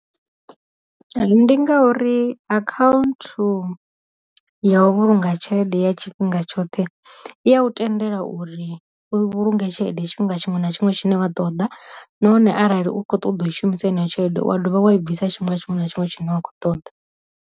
Ndi ngauri akhaunthu ya u vhulunga tshelede ya tshifhinga tshoṱhe iya u tendela uri vhulunge tshelede tshifhinga tshoṱhe, nahone arali u kho ṱoḓa u i shumisa ine ya tshelede wa dovha wa i bvisa tshiṅwe na tshiṅwe na tshiṅwe tshine wa khou ṱoḓa.